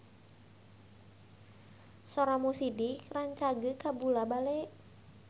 Sora Mo Sidik rancage kabula-bale